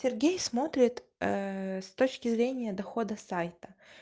сергей смотрит с точки зрения дохода сайта